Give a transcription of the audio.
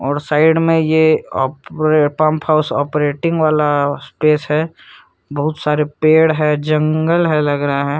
और साइड में ये पंप हाउस ऑपरेटिंग वाला स्पेस है बहुत सारे पेड़ है और जंगल लग रहा है।